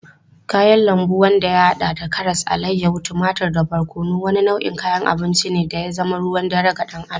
Kayan lambu wanda ya hada da karas, alayyahu, tumatur da barkono, wani nau'in kayan abinci ne da ya zama ruwan dare ga dan Adam.